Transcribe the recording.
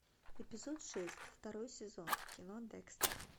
эпизод шесть второй сезон кино декстер